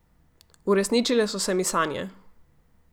Uresničile so se mi sanje.